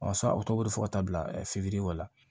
sa a bɛ tobi fɔ ka taa bila fitiri kɔ la